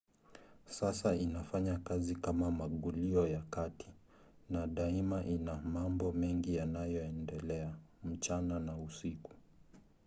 sasa inafanya kazi kama magulio ya kati na daima ina mambo mengi yanayoendelea mchana na usiku